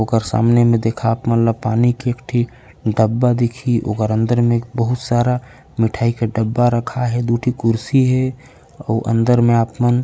और सामने मे देखा आप मन ल पानी के एक ठी डब्बा दिख ही ओकर अंदर मे एक बहुत सारा मिठाई के डब्बा रखाए हे दु ठी कुर्सी हे अऊ अंदर मे आप मन--